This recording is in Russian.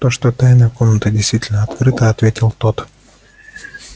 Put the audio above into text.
то что тайная комната действительно открыта ответил тот